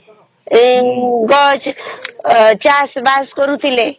ଏ କଣ ଚାଷବାସ କରୁଥିଲେ